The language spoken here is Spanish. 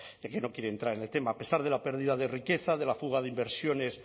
ya que no quiere entrar en el tema a pesar de la pérdida de riqueza de la fuga de inversiones